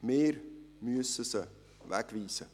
Wir müssen sie wegweisen;